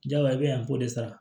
Jagoya i bɛ yan an b'o de sara